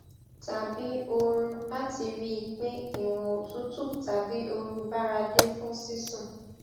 tàbí ooru láti rí i pé ìwọn òtútù tàbí ooru báradé fún sísùn